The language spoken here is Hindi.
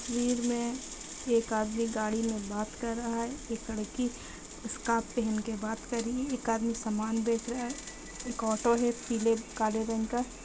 भीड़ में एक आदमी गाड़ी में बात कर रहा है एक लड़की स्कार्फ पेहेन के बात कार रही है एक आदमी समान बेच रहा है एक ऑटो है पीले काले रंग का।